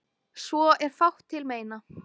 Svo er fátt til meina.